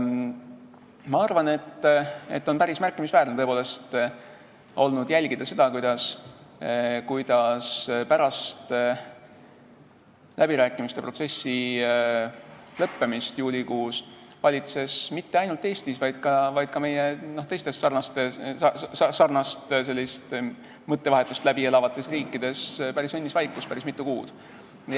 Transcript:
Ma arvan, et on päris märkimisväärne olnud jälgida seda, kuidas pärast läbirääkimiste protsessi lõppemist juulikuus valitses mitte ainult Eestis, vaid ka teistes sellist mõttevahetust läbielavates riikides päris mitu kuud õnnis vaikus.